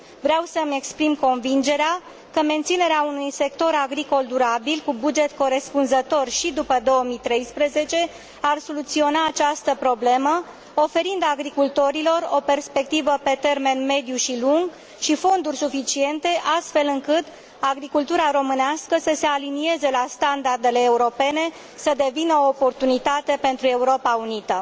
Vreau să îmi exprim convingerea că menținerea unui sector agricol durabil cu buget corespunzător și după 2013 ar soluționa această problemă, oferind agricultorilor o perspectivă pe termen mediu și lung și fonduri suficiente, astfel încât agricultura românească să se alinieze la standardele europene, să devină o oportunitate pentru Europa Unită.